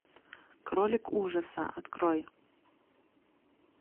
кролик ужаса открой